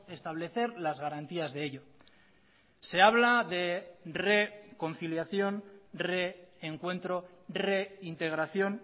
establecer las garantías de ellos se habla de reconciliación reencuentro reintegración